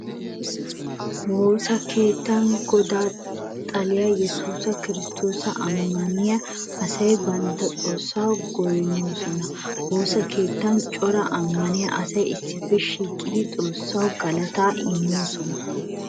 Woosa keettan Godaa, xaliya Yesuus Kiristtoosa ammaniya asay bantta xoossa goynnoosona. Woosa keettan cora ammaniya asay issippe shiiqidi xoossawu galataa immoosona.